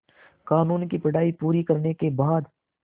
क़ानून की पढा़ई पूरी करने के बाद